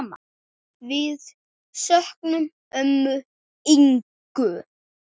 Við söknum ömmu Ingu.